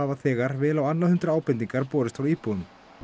þegar vel á annað hundrað ábendingar borist frá íbúum